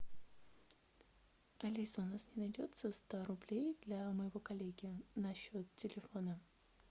алиса у нас не найдется ста рублей для моего коллеги на счет телефона